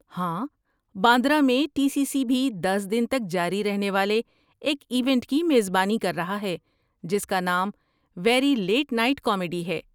ہاں، باندرہ میں T C C بھی دس دن تک جاری رہنے والے ایک ایونٹ کی میزبانی کر رہا ہے جس کا نام 'ویری لیٹ نائٹ کامیڈی' ہے۔